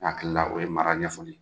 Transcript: Ne hakili la o ye mara ɲɛfɔli ye.